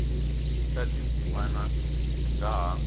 na tindzimana swi nga ha